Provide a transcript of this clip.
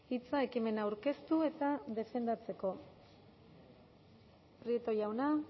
hitza ekimena aurkeztu eta defendatzeko prieto jauna